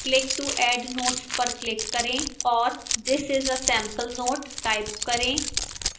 click to add notes पर click करें और this is a sample note type करें